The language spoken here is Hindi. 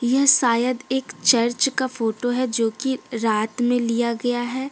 यह शायद एक चर्च का फोटो है जो कि रात में लिया गया है।